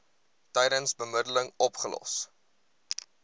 tydens bemiddeling opgelos